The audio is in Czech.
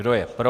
Kdo je pro?